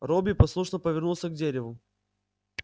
робби послушно повернулся к дереву